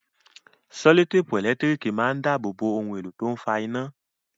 Sẹ́lòtèpù ẹ̀lẹ́tírìkì máa ń dábòo bo ohun èlò tó ń fa iná.